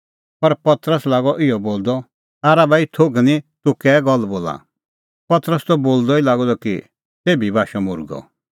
पर पतरस लागअ इहअ बोलदअ आरा भाई थोघ निं तूह कै गल्ल बोला पतरस त बोलदअ ई लागअ द कि तेभी बाशअ मुर्गअ